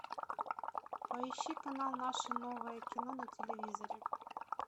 поищи канал наше новое кино на телевизоре